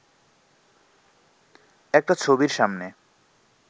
একটা ছবির সামনে